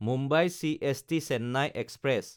Mumbai CST-Chennai express